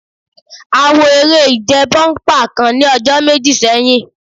À ń wo eré ìje bọ́únpà kan ní ọjọ́ méjì sẹ́yìn